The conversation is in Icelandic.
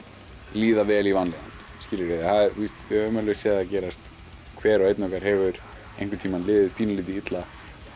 líða vel í vanlíðan við höfum alveg séð það gerast hver og einn okkar hefur einhvern tímann liðið pínulítið illa